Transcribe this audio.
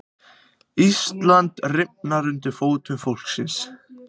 Íslandið rifnar undir fótum fólksins